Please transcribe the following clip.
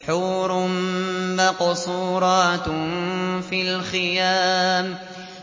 حُورٌ مَّقْصُورَاتٌ فِي الْخِيَامِ